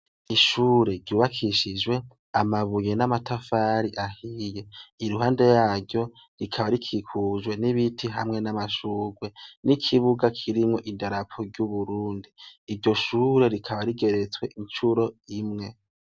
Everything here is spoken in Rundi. Ishure ryubakishijwe amabuye n'amatafari ahiye. Iruhande yaryo, rikaba rikikujwe n'ibiti hamwe n'amashurwe. N'ikibuga kirimwo idarapo ry'uburundi. Iryo shure rikaba rigeretswe incuro imwe.